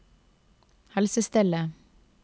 helsestellet